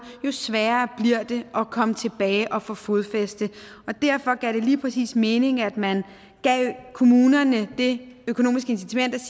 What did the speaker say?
jo sværere bliver det at komme tilbage og få fodfæste derfor gav det lige præcis mening at man gav kommunerne det økonomiske incitament at